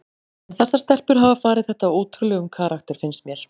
En þessar stelpur hafa farið þetta á ótrúlegum karakter finnst mér.